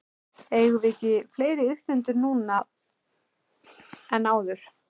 Eigum við ekki fleiri iðkendur núna en áður?